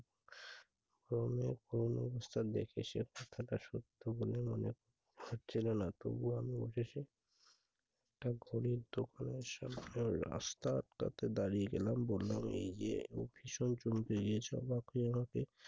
ক্রমের কোন অনুষ্ঠান দেখে সে থাকা সত্ত্বেও মনেমনে হচ্ছিলো না। তবুও আমি উঠে এসে তার ঘরের দোকানের সামনে রাস্তা আটকাতে দাঁড়িয়ে গেলাম। বললাম- এই যে